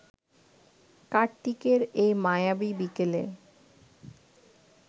কার্তিকের এই মায়াবী বিকেলে